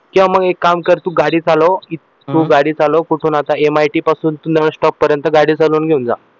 किंवा मग एक काम कर तू गाडी चालवं तू गाडी चालवं कुठून आता MIT पासून nurse stop पर्यंत गाडी चालवून घेऊन जा